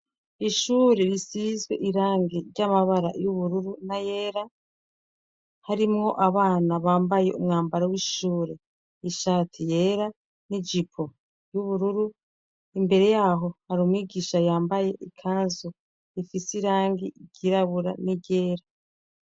Ishure risizwe irangi ry'amabara y'ubururu n'ayera harimwo abana bambaye umwambaro w'ishure, ishati yera n'ijipo y'ubururu, imbere y'aho hari umwigisha yambaye ikanzu ifise irangi ryirabura n'iryera.